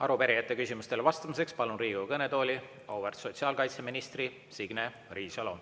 Arupärijate küsimustele vastamiseks palun Riigikogu kõnetooli auväärt sotsiaalkaitseministri Signe Riisalo.